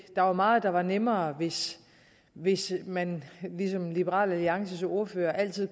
der er meget der er nemmere hvis hvis man ligesom liberal alliances ordfører altid